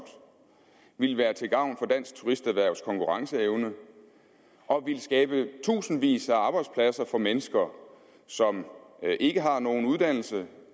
vil være til gavn for dansk turisterhvervs konkurrenceevne og vil skabe tusindvis af arbejdspladser for mennesker som ikke har nogen uddannelse